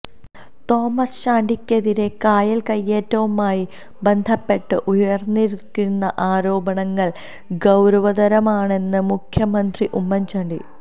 Thomas ചാണ്ടിക്കെതിരെ കായൽ കൈയേറ്റവുമായി ബന്ധപ്പെട്ട് ഉയർന്നിരിക്കുന്ന ആരോപണങ്ങൾ ഗൌരവതരമാണെന്ന് മുന്മുഖ്യമന്ത്രി ഉമ്മൻ ചാണ്ടി